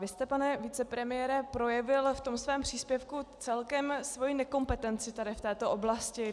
Vy jste, pane vicepremiére, projevil v tom svém příspěvku celkem svoji nekompetenci tady v této oblasti.